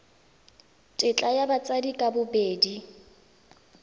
tetla ya batsadi ka bobedi